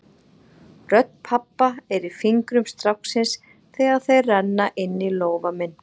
Rödd pabba er í fingrum stráksins þegar þeir renna inní lófa minn.